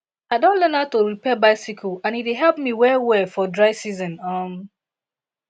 i don learn how to repair bicycle and e dey help me well well for dry season um